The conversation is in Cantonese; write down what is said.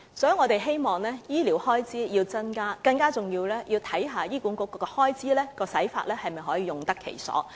所以，我們希望政府增加醫療開支，更重要的是要審視醫管局的開支是否用得其所。